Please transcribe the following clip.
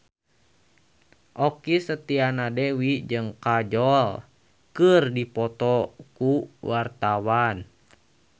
Okky Setiana Dewi jeung Kajol keur dipoto ku wartawan